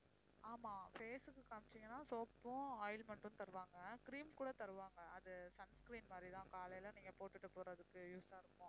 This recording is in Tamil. ஆமாம் face க்கு காமிச்சீங்கன்னா soap ம் ointment ம் தருவாங்க cream கூட தருவாங்க அது sun cream மாதிரி தான் காலையில நீங்க போட்டுட்டு போறதுக்கு use ஆ இருக்கும்